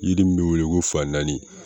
Yiri min bɛ wele ko fa naani